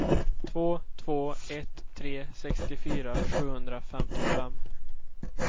två två ett tre sextiofyra sjuhundrafemtiofem